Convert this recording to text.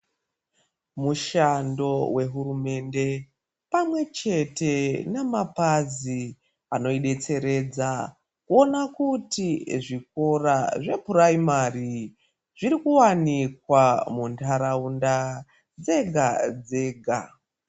Mushando wehurumende, pamwe chete namapazi anoidetseredza, kuona kuti zvikora zvephuraimari ,zviri kuwanikwa muntaraunda dzega-dzega.